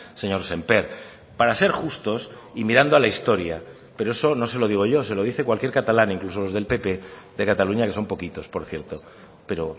señor sémper para ser justos y mirando a la historia pero eso no se lo digo yo se lo dice cualquier catalán incluso los del pp de cataluña que son poquitos por cierto pero